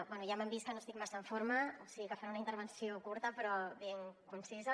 bé ja m’han vist que no estic massa en forma o sigui que faré una intervenció curta però ben concisa